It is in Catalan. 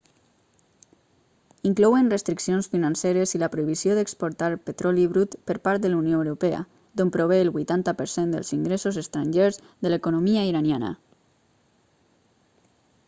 inclouen restriccions financeres i la prohibició d'exportar petroli brut per part de la unió europea d'on prové el 80% dels ingressos estrangers de l'economia iraniana